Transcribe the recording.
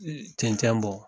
cɛncɛn bɔ